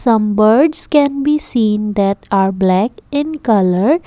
some birds can be seen that are black in colour.